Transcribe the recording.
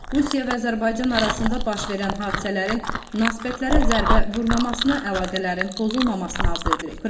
Rusiya və Azərbaycan arasında baş verən hadisələrin nəsibətlərə zərbə vurmamasına, əlaqələrin pozulmamasına arzu edirik.